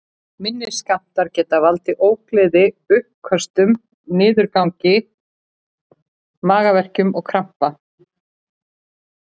Minni skammtar geta valdið ógleði, uppköstum, niðurgangi, magaverkjum og krampa.